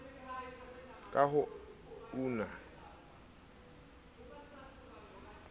ka ho una ho tseteleng